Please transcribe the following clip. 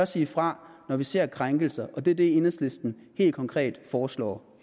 sige fra når vi ser krænkelser og det er det enhedslisten helt konkret foreslår